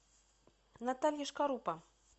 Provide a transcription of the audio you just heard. наталья шкарупа